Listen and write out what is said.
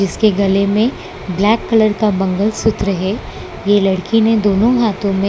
इसके गले में ब्लैक कलर का मंगलसूत्र है ये लड़की ने दोनों हाथों में--